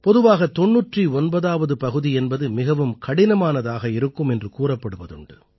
பொதுவாக 99ஆவது பகுதி என்பது மிகவும் கடினமானதாக இருக்கும் என்று கூறப்படுவதுண்டு